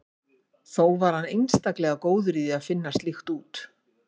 Þó var hann einstaklega góður í því að finna slíkt úr.